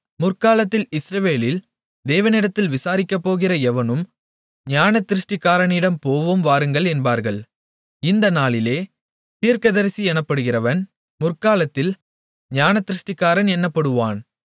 முற்காலத்தில் இஸ்ரவேலில் தேவனிடத்தில் விசாரிக்கப்போகிற எவனும் ஞானதிருஷ்டிக்காரனிடம் போவோம் வாருங்கள் என்பார்கள் இந்த நாளிலே தீர்க்கதரிசி எனப்படுகிறவன் முற்காலத்தில் ஞானதிருஷ்டிக்காரன் என்னப்படுவான்